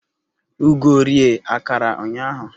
Ugo rie akara ụnyaahụ